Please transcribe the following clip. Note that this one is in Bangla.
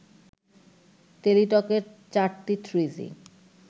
টেলিটকের চারটি থ্রিজি